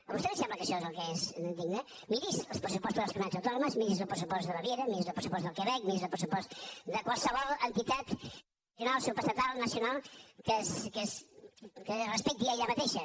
a vostè li sembla que això és el que és digne miri’s els pressupostos de les comunitats autònomes miri’s el pressupost de baviera miri’s el pressupost del quebec miri’s el pressupost de qualsevol entitat nacional supraestatal nacional que es respecti a ella mateixa